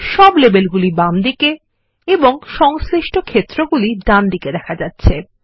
সব লেবেলগুলি বামদিকে এবং সংশ্লিষ্ট ক্ষেত্রগুলি ডানদিকে দেখা যাচ্ছে